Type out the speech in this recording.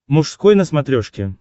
мужской на смотрешке